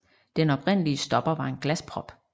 Den oprindelige stopper var en glasprop